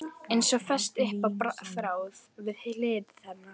Eins og fest upp á þráð við hlið hennar.